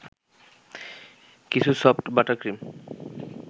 কিছু soft butter cream